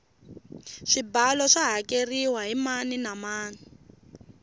swibalo swa hakeriwa hi mani na mani